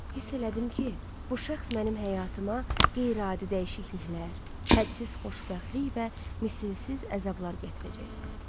Hiss elədim ki, bu şəxs mənim həyatıma qeyri-adi dəyişikliklər, hədsiz xoşbəxtlik və misilsiz əzablar gətirəcək.